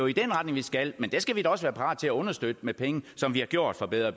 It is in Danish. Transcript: i den retning vi skal men det skal vi også være parat til at understøtte med penge som vi har gjort med bedre